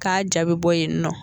K'a ja be bɔ yen nɔ